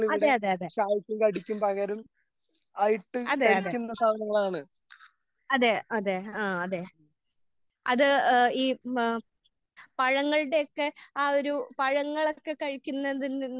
അതെ അതെ അതെ അതെ അതെ അതെ അതെ അതെ ആഹ് അതെ അത് ഈ ഏഹ് പഴങ്ങളുടെ ഒക്കെ ആഹ് ഒരു പഴങ്ങളൊക്കെ കഴിക്കുന്നതിൽ നിന്ന്